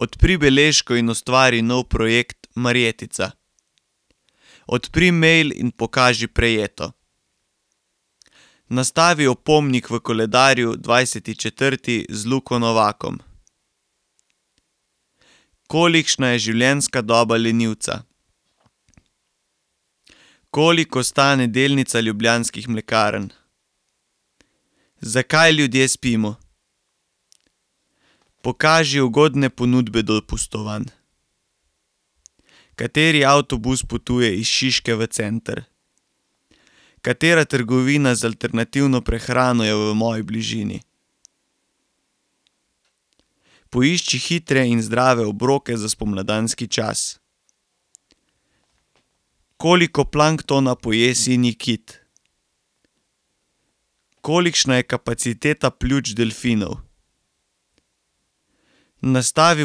Odpri beležko in ustvari nov projekt Marjetica. Odpri mail in pokaži Prejeto. Nastavi opomnik v koledarju dvajseti četrti z [ime in priimek] . Kolikšna je življenjska doba lenivca? Koliko stane delnica Ljubljanskih mlekarn? Zakaj ljudje spimo? Pokaži ugodne ponudbe dopustovanj. Kateri avtobus potuje iz Šiške v center? Katera trgovina z alternativno prehrano je v moji bližini? Poišči hitre in zdrave obroke za spomladanski čas. Koliko planktona poje sinji kit? Kolikšna je kapaciteta pljuč delfinov? Nastavi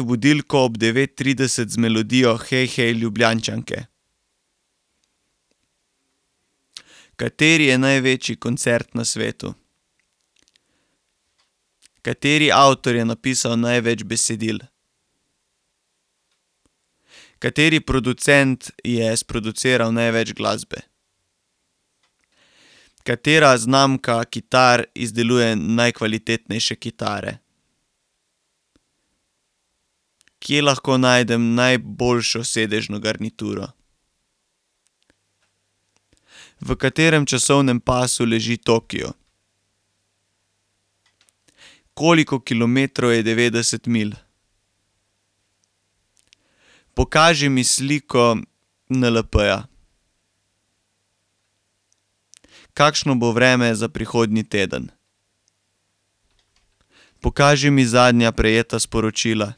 budilko ob devet trideset z melodijo Hej, hej, Ljubljančanke. Kateri je največji koncert na svetu? Kateri producent je sproduciral največ glasbe? Katera znamka kitar izdeluje najkvalitetnejše kitare? Kje lahko najdem najboljšo sedežno garnituro? V katerem časovnem pasu leži Tokio? Koliko kilometrov je devetdeset milj? Pokaži mi sliko NLP-ja. Kakšno bo vreme za prihodnji teden? Pokaži mi zadnja prejeta sporočila.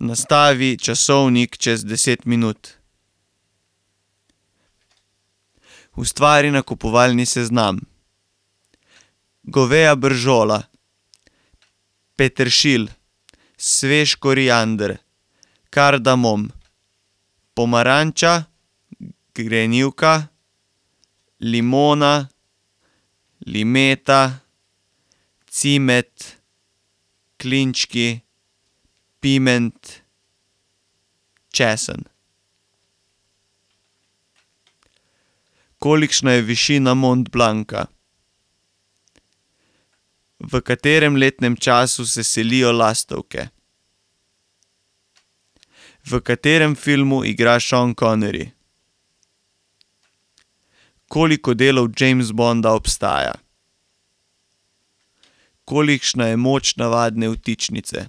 Nastavi časovnik čez deset minut. Ustvari nakupovalni seznam: goveja bržola, peteršilj, svež koriander, kardamom, pomaranča, grenivka, limona, limeta, cimet, klinčki, piment, česen. Kolikšna je višina Mont Blanca? V katerem letnem času se selijo lastovke? V katerem filmu igra Sean Connery? Koliko delov James Bonda obstaja? Kolikšna je moč navadne vtičnice?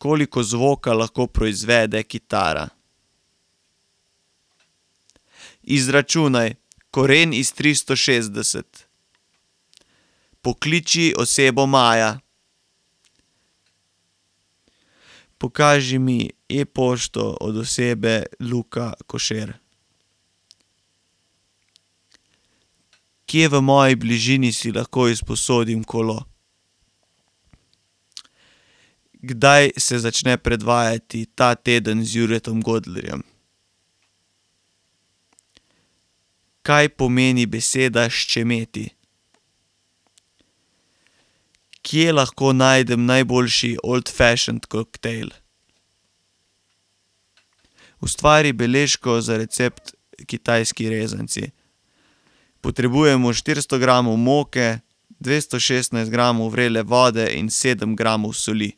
Koliko zvoka lahko proizvede kitara? Izračunaj: koren iz tristo šestdeset. Pokliči osebo Maja. Pokaži mi e-pošto od osebe [ime in priimek] . Kje v moji bližini si lahko izposodim kolo? Kdaj se začne predvajati Ta teden z Juretom Godlerjem? Kaj pomeni beseda ščemeti? Kje lahko najdem najboljši old fashion koktejl? Ustvari beležko za recept kitajski rezanci. Potrebujemo štiristo gramov moke, dvesto šestnajst gramov vrele vode in sedem gramov soli.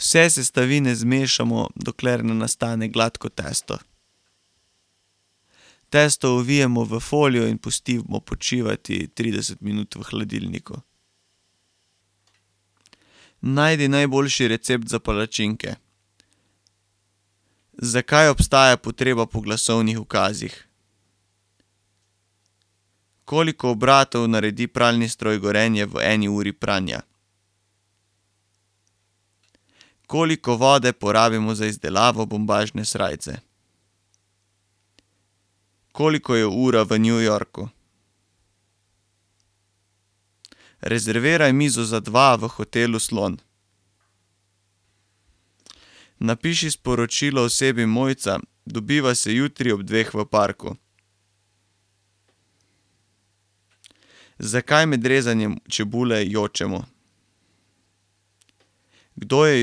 Vse sestavine zmešamo, dokler ne nastane gladko testo. Testo ovijemo v folijo in pustimo počivati trideset minut v hladilniku. Najdi najboljši recept za palačinke. Zakaj obstaja potreba po glasovnih ukazih? Koliko obratov naredi pralni stroj Gorenje v eni uri pranja? Koliko vode porabimo za izdelavo bombažne srajce? Koliko je ura v New Yorku? Rezerviraj mizo za dva v hotelu Slon. Napiši sporočilo osebi Mojca: Dobiva se jutri ob dveh v parku. Zakaj med rezanjem čebule jočemo? Kdo je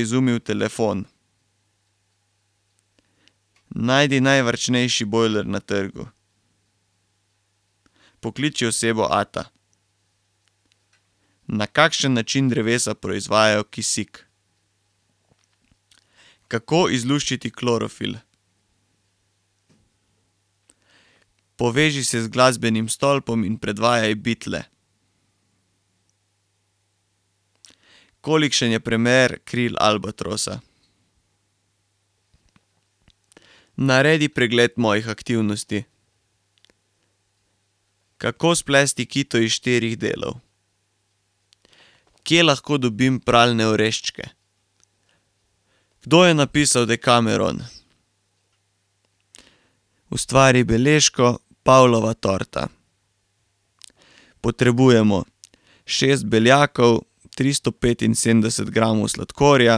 izumil telefon? Najdi najvarčnejši bojler na trgu. Pokliči osebo Ata. Na kakšen način drevesa proizvajajo kisik? Kako izluščiti klorofil? Poveži se z glasbenim stolpom in predvajaj Beatle. Kolikšen je premer kril albatrosa? Naredi pregled mojih aktivnosti. Kako splesti kito iz štirih delov? Kje lahko dobim pralne oreščke? Kdo je napisal Dekameron? Ustvari beležko: Pavlova torta. Potrebujemo: šest beljakov, tristo petinsedemdeset gramov sladkorja,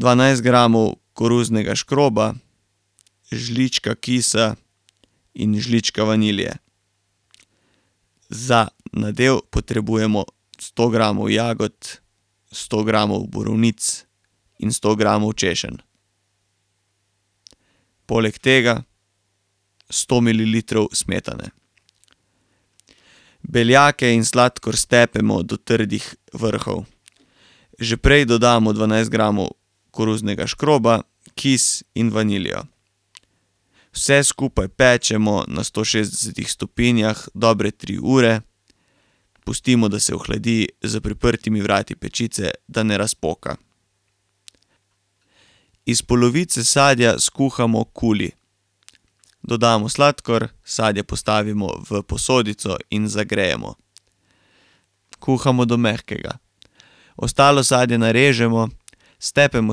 dvanajst gramov koruznega škroba, žlička kisa in žlička vanilije. Za nadev potrebujemo sto gramov jagod, sto gramov borovnic in sto gramov češenj. Poleg tega sto mililitrov smetane. Beljake in sladkor stepemo do trdih vrhov. Že prej dodamo dvanajst gramov koruznega škroba, kis in vanilijo. Vse skupaj pečemo na sto šestdesetih stopinjah dobre tri ure, pustimo, da se ohladi za priprtimi vrati pečice, da ne razpoka. Iz polovice sadja skuhamo kuli. Dodamo sladkor, sadje postavimo v posodico in zagrejemo. Kuhamo do mehkega. Ostalo sadje narežemo, stepemo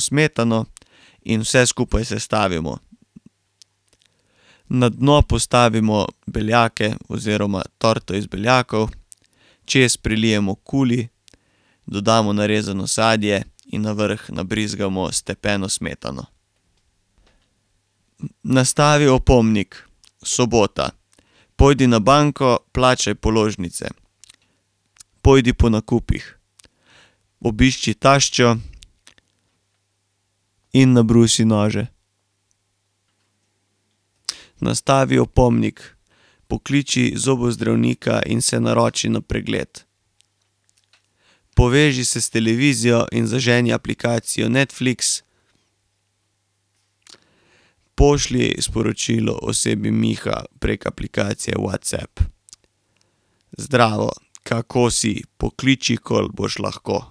smetano in vse skupaj sestavimo. Na dno postavimo beljake oziroma torto iz beljakov, čez prelijemo kuli, dodamo narezano sadje in na vrh nabrizgamo stepeno smetano. Nastavi opomnik. Sobota: pojdi na banko, plačaj položnice, pojdi po nakupih, obišči taščo in nabrusi nože. Nastavi opomnik: pokliči zobozdravnika in se naroči na pregled. Poveži se s televizijo in zaženi aplikacijo Netflix. Pošlji sporočilo osebi Miha prek aplikacije WhatsApp: Zdravo, kako si? Pokliči, ko boš lahko.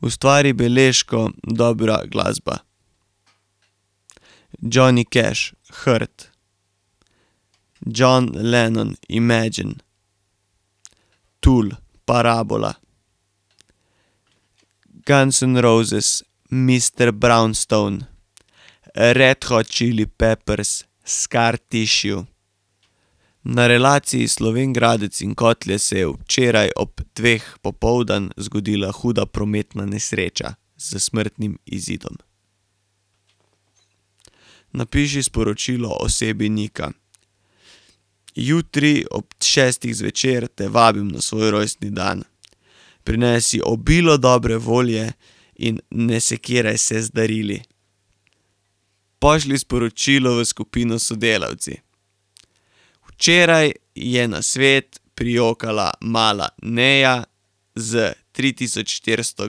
Ustvari beležko: dobra glasba. Johnny Cash: Hurt, John Lenon: Imagine, Tool: Parabola. Guns N' Roses: Mister Brownstone. Red Hot Chili Peppers: Scar Tissue. Na relaciji Slovenj Gradc in Kotlje se je včeraj ob dveh popoldne zgodila huda prometna nesreča s smrtnim izidom. Napiši sporočilo osebi Nika: Jutri ob šestih zvečer te vabim na svoj rojstni dan. Prinesi obilo dobre volje in ne sekiraj se z darili. Pošlji sporočilo v skupino Sodelavci: Včeraj je na svet prijokala mala Neja s tri tisoč štiristo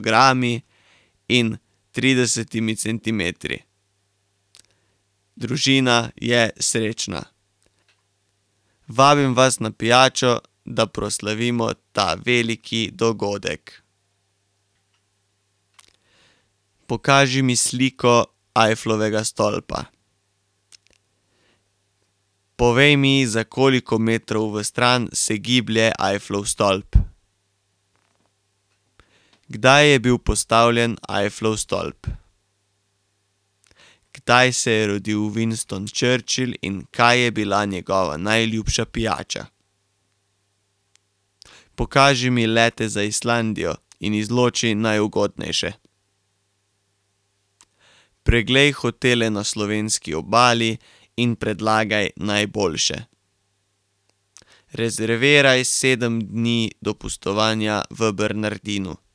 grami in tridesetimi centimetri. Družina je srečna. Vabim vas na pijačo, da proslavimo ta veliki dogodek. Pokaži mi sliko Eifflovega stolpa. Povej mi, za koliko metrov v stran se giblje Eifflov stolp. Kdaj je bil postavljen Eifflov stolp? Kdaj se je rodil Winston Churchill in kaj je bila njegova najljubša pijača? Pokaži mi leta za Islandijo in izloči najugodnejše. Preglej hotele na slovenski obali in predlagaj najboljše. Rezerviraj sedem dni dopustovanja v Bernardinu.